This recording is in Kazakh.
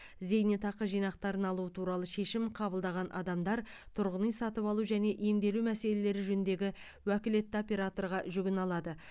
зейнетақы жинақтарын алу туралы шешім қабылдаған адамдар тұрғын үй сатып алу және емделу мәселелері жөніндегі уәкілетті операторға жүгіне алады